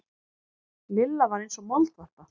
Lilla var eins og moldvarpa.